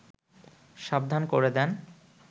সাবধান করে দেন